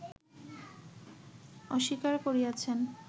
অস্বীকার করিয়াছেন